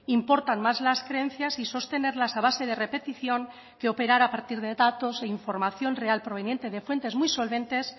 importan más las creencias y sostenerlas a base de repetición que operar a partir de datos e información real proveniente de fuentes muy solventes